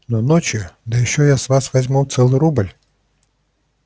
но ночью да ещё я с вас я возьму целый рубль